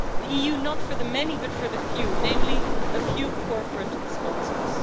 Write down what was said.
The EU, not for the many, but for the few, namely a few corporate sponsors.